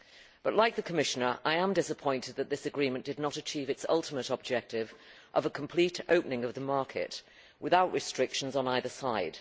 But, like the Commissioner, I am disappointed that this agreement did not achieve its ultimate objective of a complete opening of the market without restrictions on either side.